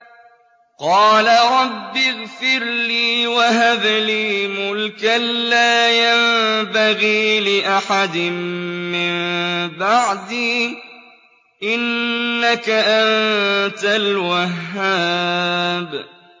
قَالَ رَبِّ اغْفِرْ لِي وَهَبْ لِي مُلْكًا لَّا يَنبَغِي لِأَحَدٍ مِّن بَعْدِي ۖ إِنَّكَ أَنتَ الْوَهَّابُ